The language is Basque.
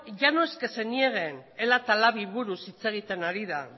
ya no es que se niegan ela eta lab buruz hitz egiten ari da